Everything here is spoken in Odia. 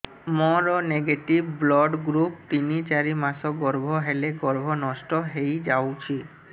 ମୋର ନେଗେଟିଭ ବ୍ଲଡ଼ ଗ୍ରୁପ ତିନ ଚାରି ମାସ ଗର୍ଭ ହେଲେ ଗର୍ଭ ନଷ୍ଟ ହେଇଯାଉଛି